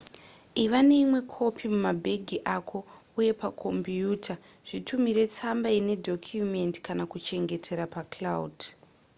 iva neimwe kopi mumabhegi ako uye pakombiyuta zvitumire tsamba ine dhokumendi kana kuchengetera pa cloud"